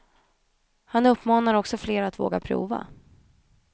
Han uppmanar också fler att våga prova.